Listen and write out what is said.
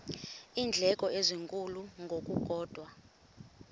iindleko ezinkulu ngokukodwa